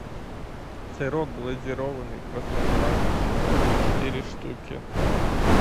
сырок глазированный простоквашино четыре штуки